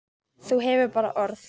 Þú hefur bara orð.